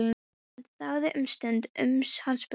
Hann þagði um stund uns hann spurði